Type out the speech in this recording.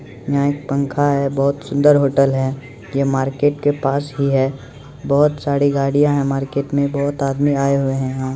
यहां एक पंखा है बहुत सुंदर होटल है ये मार्केट के पास ही है बहुत सारी गाड़ियां है मार्केट मे बहुत आदमी आए हुए हैं यहाँ |